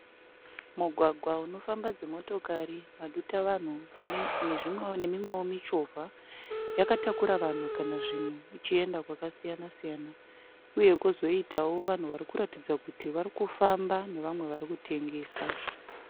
Mugwagwa unofamba dzimotokari madutavanhu nemimwewo michovha yakatakura vanhu kana zvinhu ichienda kwakasiyana siyana uye kwozoitawo vanhu vari kuratidza kuti vari kufamba nevamwe vari kutengesa.